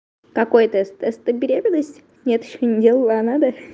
какой тест тест на беременность нет ещё не делала а надо